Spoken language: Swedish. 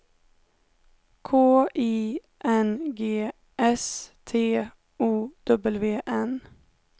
K I N G S T O W N